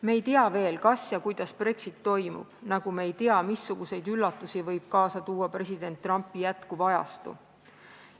Me ei tea veel, kas ja kuidas Brexit toimub, nagu me ei tea, missuguseid üllatusi võib kaasa tuua jätkuv president Trumpi ajastu.